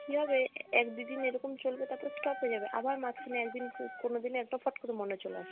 কী হবে এক দু'দিন এরকম চলবে তারপর stop হয়ে যাবে, আবার মাঝখানে একদিন কো~ কোনোদিন একবার ফট করে মনে চলে আসলো।